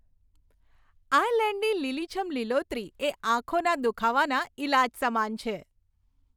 આયર્લેન્ડની લીલીછમ લીલોતરી એ આંખોના દુખાવાના ઈલાજ સમાન છે.